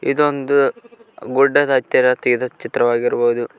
ಇದು ಒಂದು ಗುಡ್ಡದ ಹತ್ತಿರ ತಗಿದ ಚಿತ್ರವಾಗಿರಬಹುದು.